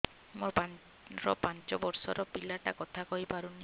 ମୋର ପାଞ୍ଚ ଵର୍ଷ ର ପିଲା ଟା କଥା କହି ପାରୁନି